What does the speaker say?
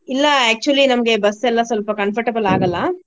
ಇಲ್ಲಾ actually ನಮ್ಗೆ ಬಸ್ಸೆಲ್ಲಾ ಸ್ವಲ್ಪ comfortable ಆಗಲ್ಲಾ.